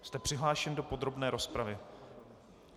Jste přihlášen do podrobné rozpravy.